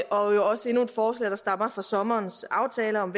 også endnu et forslag der stammer fra sommerens aftaler om